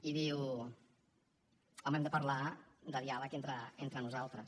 i diu home hem de parlar de diàleg entre nosaltres